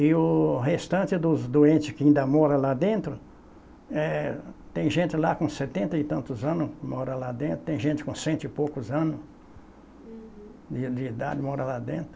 E o restante dos doentes que ainda moram lá dentro, eh, tem gente lá com setenta e tantos anos, mora lá dentro, tem gente com cento e poucos anos de de idade, mora lá dentro.